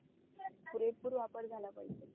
पुरेपूर वापर झाला पाहिजे